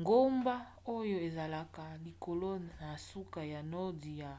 ngomba oyo ezalaka likolo na suka ya nordi ya